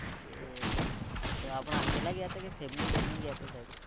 એ તો આપણે એકલા ગયા હતા કે family લઇને ગયા છો સાહેબ?